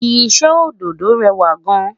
iṣẹ ododo rẹwa gaan